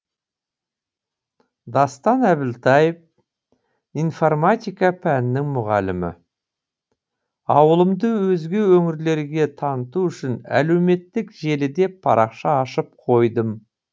дастан әбілтаев информатика пәнінің мұғалімі ауылымды өзге өңірлерге таныту үшін әлеуметтік желіде парақша ашып қойдым